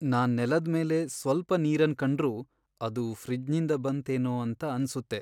ನಾನ್ ನೆಲದ್ ಮೇಲೆ ಸ್ವಲ್ಪ ನೀರನ್ ಕಂಡ್ರು ಅದು ಫ್ರಿಜ್ನಿಂದ ಬಂತ್ ಏನೋ ಅಂತ ಅನ್ಸುತ್ತೆ.